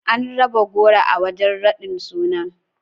An raba goro a wajen raɗin sunan.